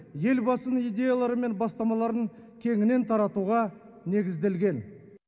елбасының идеялары мен бастамаларын кеңінен таратуға негізделген